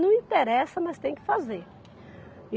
Não interessa, mas tem que fazer.